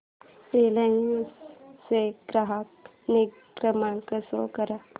Reliance चा ग्राहक निगा क्रमांक शो कर